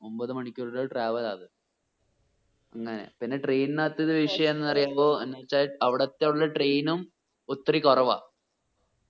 ഒമ്പത് മണിക്കൂർ ഉള്ള travel ആ അത് പിന്നെ train നത്തുള്ള വിഷയം എന്ന് പറയുമ്പോ എന്ന് വെച്ച അവിടെത്തുള്ള train ഉം ഒത്തിരി കുറവാ